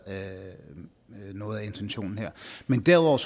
noget af intentionen her men derudover